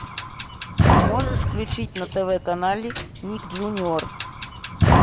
можешь включить на тв канале ник джуниор